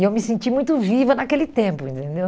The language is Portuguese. E eu me senti muito viva naquele tempo, entendeu?